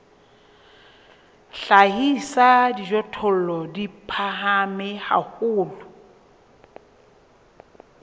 hlahisa dijothollo di phahame haholo